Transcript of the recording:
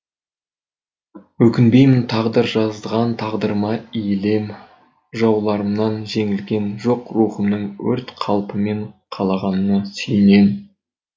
өкінбеймін тағдыр жазған тағдырыма иілем жауларымнан жеңілгем жоқ рухымның өрт қалпымен қалағанына сүйінем